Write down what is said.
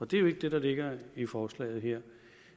det er jo ikke det der ligger i forslaget her